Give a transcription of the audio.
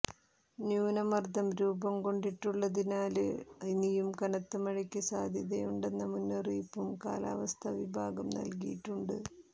ന്യൂനമര്ദം രൂപംകൊണ്ടിട്ടുള്ളതിനാല് ഇനിയും കനത്ത മഴയ്ക്ക് സാധ്യതയുണ്ടെന്ന മുന്നറിയിപ്പും കാലാവസ്ഥാ വിഭാഗം നല്കിയിട്ടുണ്ട്